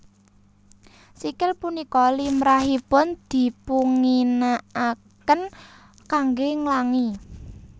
Sikil punika limrahipun dipunginakaken kanggé nglangi